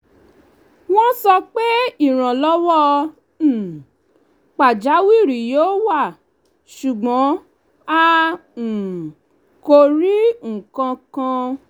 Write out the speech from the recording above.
wọ́n sọ pé ìrànlọ́wọ́ um pajawiri yóò wá ṣùgbọ́n a um kò rí nkankan